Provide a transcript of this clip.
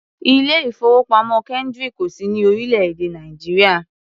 Ilé-ìfowópamọ́ Kendric ò sí ní orílẹ̀-èè Nàìjíríà.